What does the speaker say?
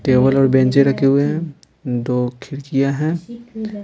Table और बेंचे रखे हुए हैं दो खिड़कियां हैं।